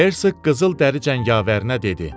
Hersk qızıl dəri cəngavərinə dedi: